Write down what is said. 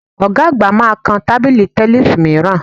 Ọ̀ga àgbà máa kan tábìlì tẹníìsì mìíràn